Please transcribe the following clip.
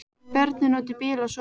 Börnin úti í bíl og svona.